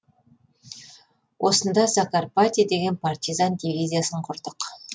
осында закарпатье деген партизан дивизиясын құрдық